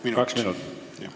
Hästi, kaks minutit.